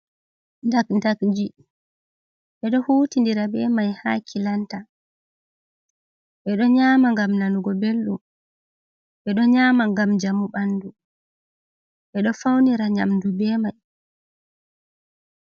Ndakdakji. Be do hutidira be mai ha kilanta. Bedo nyama ngam nanugo beldum. Be do nyama ngam jamu banɗu. Be do faunira nyamdu be mai.